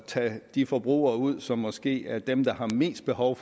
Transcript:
tage de forbrugere ud som måske er dem der har mest behov